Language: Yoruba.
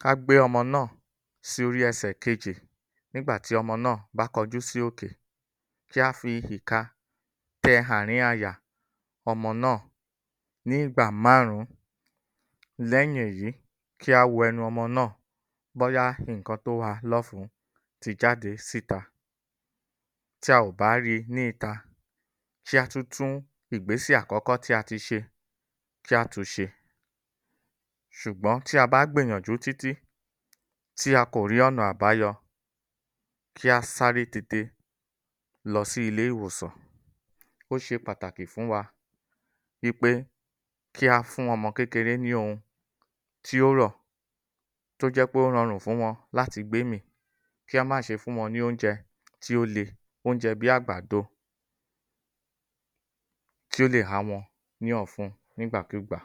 .Ká gbé ọmọ náà sí orí ẹ̀sẹ̀ kejì nígbà tí ọmọ náà bá kọjú sí òkè, kí a fi ìka tẹ àárín àyà ọmọ náà ní ìgbà márùn-ún. Lẹ́yìn èyí, kí a wo ẹnu ọmọ náà bóyá nǹkan tó ha lọ́fun ti jáde síta, tí a ò ba ri ní ìta, sé a tún tún ìgbésè àkọ́kọ́ tí a ti ṣe, kí a tún se. ṣ̀ugbọ́n tí a bá gbìyànjú tí tí, tí a kò rí ọ̀nà àbáyọ. Kí a sáré tètè lọsí ilé ìwòsàn. Ó ṣe pàtàkì fún wa í pé kí a fún ọmọ kékeré ni ohun ti ó rọ̀, tó jẹ́ pe ó rọ̀rùn fún wọn láti gbémì. Kí a má ṣe fún wọn ni oúnjẹ tí o le, oúnjẹ́ bí agbàḍo kí ó lè há wọn ní ọ̀fun nígbàkúgbà.